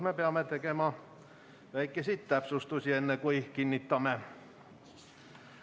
Me peame siin tegema väikseid täpsustusi, enne kui me selle kinnitame.